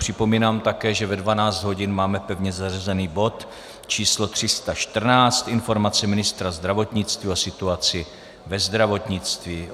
Připomínám také, že ve 12 hodin máme pevně zařazen bod číslo 314 - informace ministra zdravotnictví o situaci ve zdravotnictví.